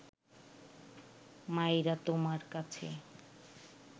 মাইরা তুমার কাছে